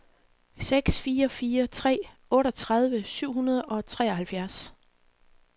seks fire fire tre otteogtredive syv hundrede og treoghalvfjerds